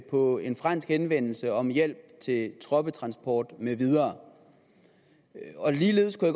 på en fransk henvendelse om hjælp til troppetransport med videre ligeledes kunne